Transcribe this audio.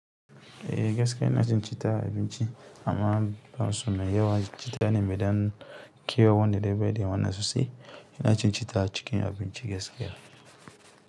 Eh gaskiya ina cin citta a abinci amma ban son mai yawa. Citta ne mai ɗan kewa wanda daidaikai wannan sosai. Ina cin cita cikin abinci gaskiya.